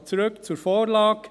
Aber zurück zur Vorlage.